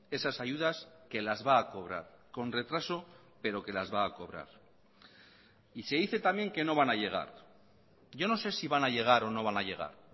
esas ayudas que lasva a cobrar con retraso pero que las va a cobrar y se dice también que no van a llegar yo no sé si van a llegar o no van a llegar